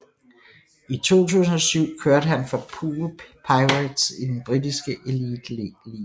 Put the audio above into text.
I 2007 kørte han for Poole Pirates i den britiske Elite League